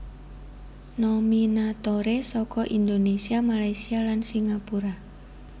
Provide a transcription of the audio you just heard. Nominatoré saka Indonésia Malaysia lan Singapura